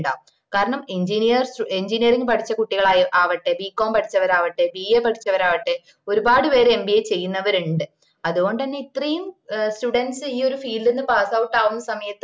കാരണം engineer engineering പഠിച്ച കുട്ടികളാവട്ടെ bcom പഠിച്ചവരാവട്ടെ bar പഠിച്ചവരാവട്ടെ ഒരുപാട് പേര് mba ചെയ്യന്നവരുണ്ട് അതൊകൊണ്ടന്നേയ് ഇത്രെയും ഏഹ് students ഈ ഒര് field ന് passout ആവുന്ന സമയത്ത്‌